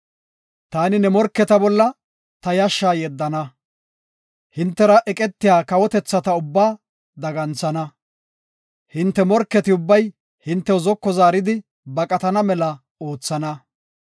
“Taani ne morketa bolla ta yashsha yeddana. Hintera eqetiya kawotethata ubbaa daganthana. Hinte morketi ubbay hintew zoko zaaridi baqatana mela oothana.